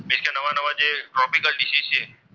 Tropical disease છે.